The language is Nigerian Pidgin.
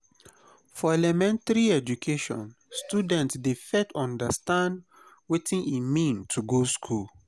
for elementary education student dey first understand wetin e mean to go school